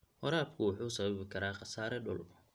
Waraabku wuxuu sababi karaa khasaare dhul.